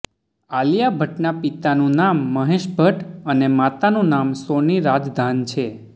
આલિયા ભટ્ટના પિતાનું નામ મહેશ ભટ્ટ અને માતાનું નામ સોની રાજધાન છે